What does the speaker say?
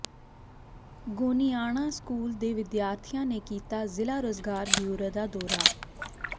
Goniana school ਦੇ ਵਿਦਿਆਰਥੀਆਂ ਨੇ ਕੀਤਾ ਜ਼ਿਲ੍ਹਾ ਰੋਜਗਾਰ ਬਿਓਰੋ ਦਾ ਦੌਰਾ